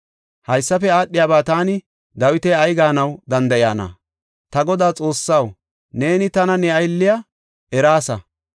“Haysafe aadhiyaba taani, Dawiti ay gaanaw danda7iyana? Ta Godaa Xoossaw, neeni tana ne aylliya eraasa.